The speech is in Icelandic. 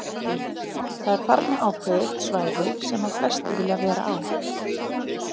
Lillý: Það er þarna ákveðið svæði sem að flestir vilja vera á?